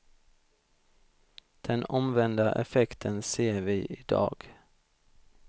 Den omvända effekten ser vi i dag.